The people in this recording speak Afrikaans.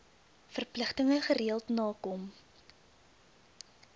verpligtinge gereeld nakom